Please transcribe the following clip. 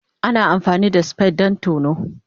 Ana amfani da spade don tono.